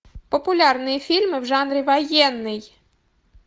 популярные фильмы в жанре военный